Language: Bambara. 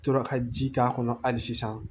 Tora ka ji k'a kɔnɔ hali sisan